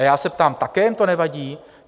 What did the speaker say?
A já se ptám: také jim to nevadí?